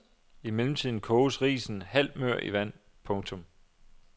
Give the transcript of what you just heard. I mellemtiden koges risen halvt mør i vand. punktum